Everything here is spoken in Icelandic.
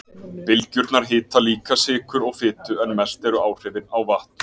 Bylgjurnar hita líka sykur og fitu en mest eru áhrifin á vatn.